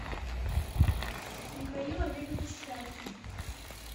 михаил олегович шляхин